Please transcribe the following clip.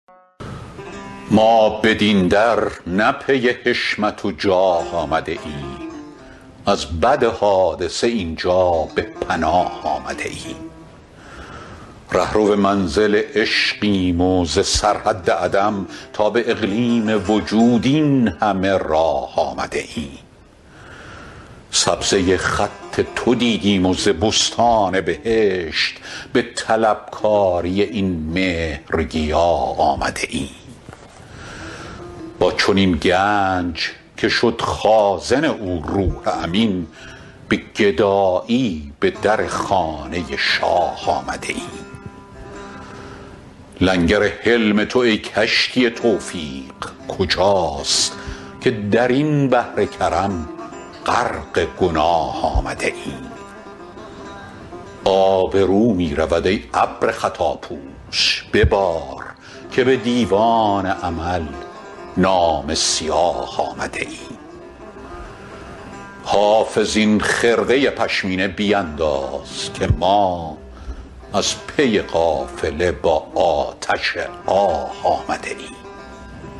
ما بدین در نه پی حشمت و جاه آمده ایم از بد حادثه این جا به پناه آمده ایم رهرو منزل عشقیم و ز سرحد عدم تا به اقلیم وجود این همه راه آمده ایم سبزه خط تو دیدیم و ز بستان بهشت به طلبکاری این مهرگیاه آمده ایم با چنین گنج که شد خازن او روح امین به گدایی به در خانه شاه آمده ایم لنگر حلم تو ای کشتی توفیق کجاست که در این بحر کرم غرق گناه آمده ایم آبرو می رود ای ابر خطاپوش ببار که به دیوان عمل نامه سیاه آمده ایم حافظ این خرقه پشمینه بینداز که ما از پی قافله با آتش آه آمده ایم